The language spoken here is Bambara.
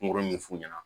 Kungolo ɲɛ f'u ɲɛna